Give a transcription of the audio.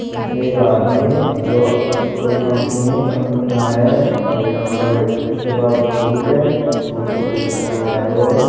इसमें आदमी है जो इस कोई कंपनी है कंपनी में आया है और यहाँ पर इसके पास सूट है सूट को प्रेस कराने आया हुआ है।